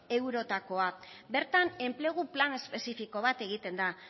eurotakoa bertan enplegu plan espezifiko bat egiten da